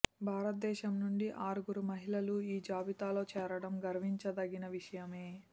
భారతదేశం నుంచి ఆరుగురు మహిళలు ఈ జాబితాలో చేరడం గర్వించదగిన విషయమే